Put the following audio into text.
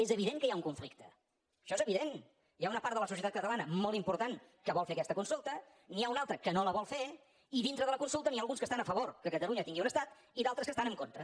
és evident que hi ha un conflicte això és evident hi ha una part de la societat catalana molt important que vol fer aquesta consulta n’hi ha una altra que no la vol fer i dintre de la consulta n’hi ha alguns que estan a favor que catalunya tingui un estat i d’altres que hi estan en contra